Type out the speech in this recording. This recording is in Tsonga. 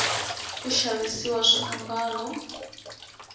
ku xavisiwa swiambalo